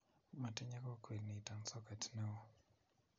matinye kokwet nito soket neoo